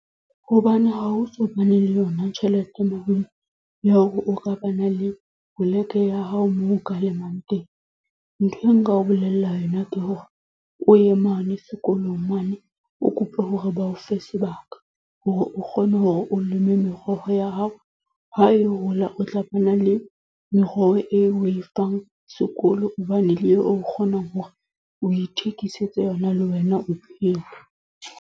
Hobane ha o so bane le yona tjhelete malome, ya hore o ka ba na le poleke ya hao moo o ka lemang teng. Nthwe nka o bolella yona ke hore, o ye mane sekolong mane, o kope hore ba o fe sebaka. Hore o kgone hore o leme meroho ya hao. Ha e hola o tla bo na le meroho eo o e fang sekolo, obane le eo o kgonang hore o ithekisetse yona le wena o phele.